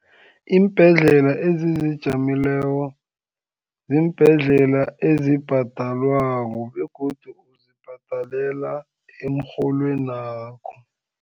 Iimbhedlela ezizijameleko, ziimbhedlela ezibhadalwako, begodu uzibhadalela emrholwen wakho.